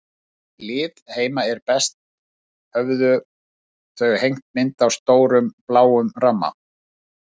Við hlið heima er best höfðu þau hengt mynd í stórum, bláum ramma.